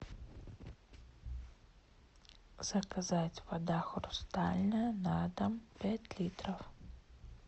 заказать вода хрустальная на дом пять литров